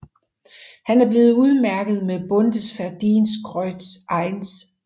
Han er blevet udmærket med Bundesverdienstkreuz 1